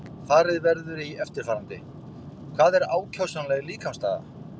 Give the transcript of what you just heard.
Farið verður í eftirfarandi: Hvað er ákjósanleg líkamsstaða?